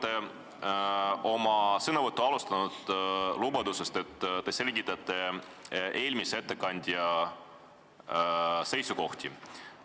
Te alustasite oma sõnavõttu lubadusest, et te selgitate eelmise ettekandja seisukohti.